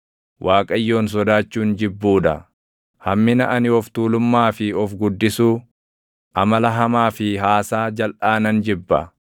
Waaqayyoon sodaachuun jibbuu dha; hammina ani of tuulummaa fi of guddisuu, amala hamaa fi haasaa jalʼaa nan jibba.